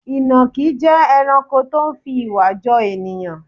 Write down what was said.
Ìnàkí jẹ́ ẹranko tó fi ìwà jọ ènìyàn.